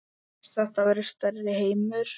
Þetta verður stærri heimur.